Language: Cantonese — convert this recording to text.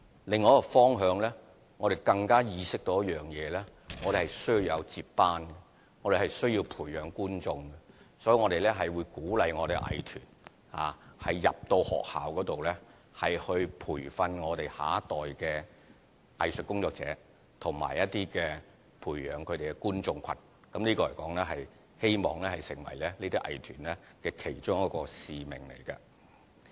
另一個方向，我們更意識到需要有接班人，需要培養觀眾，所以會鼓勵藝團到學校內，培訓下一代的藝術工作者和培養觀眾群，希望這能成為藝團的其中一個使命。